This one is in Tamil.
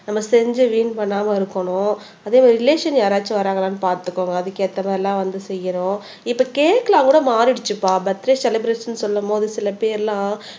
நம்ம செஞ்சு வீண் பண்ணாம இருக்கணும் அதே மாதிரி ரிலேஷன் யாராச்சும் வர்றாங்களான்னு பார்த்துக்கோங்க அதுக்கு ஏத்த மாதிரி எல்லாம் வந்து செய்யனும் இப்ப கேக் எல்லாம் கூட மாறிடுச்சுப்பா பர்த்டே செலிப்ரஷன் சொல்லும் போது சில பேர்லாம்